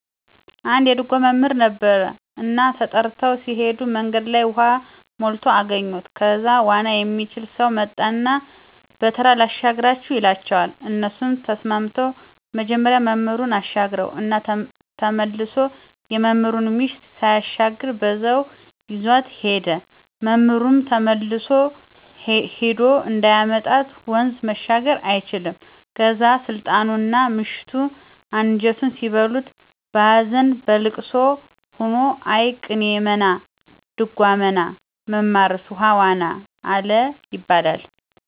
አንድ የድጓ መምህር ነበረ እና ተጠርተው ሲሄዱ መንገድ ላይ ውሃ ሞልቶ አገኙት ከዛ ዋና የሚችል ሰው መጣና በተራ ላሻግራቹ ይላቸዋል እነሱም ተስማምተው መጀመሪያ መምህሩን አሻገረው እና ተመሶ የመምህሩን ምሽት ሳያሻግር በዛው ይዟት ሄደ፤ መምህሩም ተመልሶ ሄዶ እንዳያመጣት ወንዙን መሻገር አይችልም ከዛ ስልጣኑና ምሽቱ አንጀቱን ሲበሉት በሀዘንና በልቅሶ ሆኖ እይ ቅኔ መና ጾመድጓ መና መማርስ ውሃ ዋና አለ ይባላል።